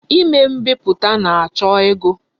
Ime mbiputa na-acho ego.